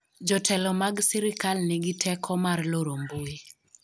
jotelo mag sirikal nigi teko mar loro mbui